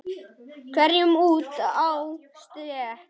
hverjum út á stétt.